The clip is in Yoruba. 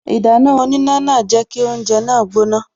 Ìdáná oníná náà jẹ́ kí oúnje náà gbóná